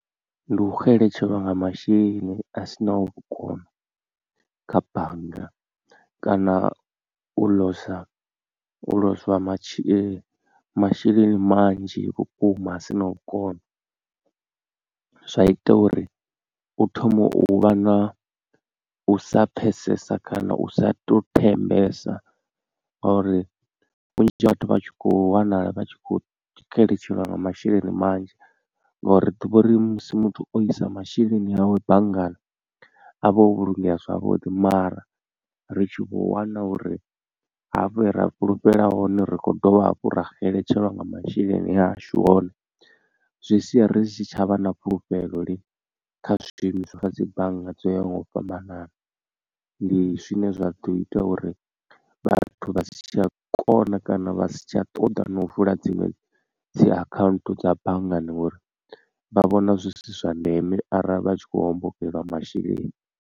Ndi u xeletshelwa nga masheleni a sinaho vhukono kha bannga kana u ḽosa u lozwa masheleni manzhi vhukuma a sinaho vhukono zwa ita uri u thome u vha na u sa pfhesesa kana u sa to thembesa ngauri vhunzhi ha vhathu vha tshi khou wanala vha tshi khou xeletshelwa nga masheleni manzhi. Ngauri ḓivha uri musi muthu o isa masheleni awe banngani avha o vhulungeya zwavhuḓi mara ri tshi vho wana uri hafha he ra fhulufhela hone ri kho dovha hafhu ra xeletshelwa nga masheleni ashu hone. Zwi sia risi tshavha na fhulufhelo lini kha zwishumiswa kha dzi bannga dzo yaho nga u fhambanana ndi zwine zwa ḓo ita uri vhathu vha si tsha kona kana vha si tsha ṱoḓa na u vula dziṅwe dzi account dza banngani ngori vha vhona zwi si zwa ndeme arali vha tshi khou hombokelwa masheleni.